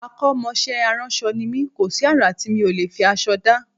Akọ́mọṣẹ́ aránṣọ ni mí, kò sí àrà tí mi ò lè fi aṣọ dá